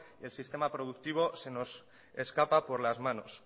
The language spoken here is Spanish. el sistema productivo se nos escapa por las manos